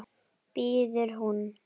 biður hún.